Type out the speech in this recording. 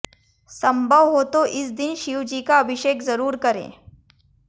संभव हो तो इस दिन शिव जी का अभिषेक जरूर करें